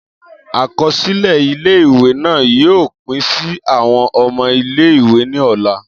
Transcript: Akọsilẹ ile-iwe naa yoo pin si awọn ọmọ ile-iwe ni ọla.